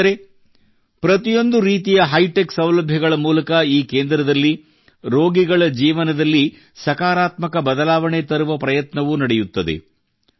ಸ್ನೇಹಿತರೆ ಪ್ರತಿಯೊಂದು ರೀತಿಯ ಹೈ ಟೆಕ್ ಸೌಲಭ್ಯಗಳ ಮೂಲಕ ಈ ಕೇಂದ್ರದಲ್ಲಿ ರೋಗಿಗಳ ಜೀವನದಲ್ಲಿ ಸಕಾರಾತ್ಮಕ ಬದಲಾವಣೆ ತರುವ ಪ್ರಯತ್ನವೂ ನಡೆಯುತ್ತದೆ